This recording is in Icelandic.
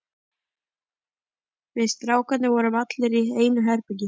Við strákarnir vorum allir í einu herbergi.